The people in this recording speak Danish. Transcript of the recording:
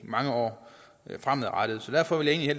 mange år frem derfor vil jeg